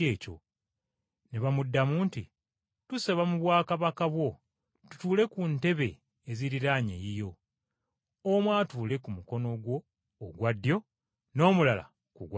Ne bamuddamu nti, “Tusaba mu bwakabaka bwo tutuule ku ntebe eziriraanye eyiyo, omu atuule ku mukono gwo ogwa ddyo n’omulala ku gwa kkono?”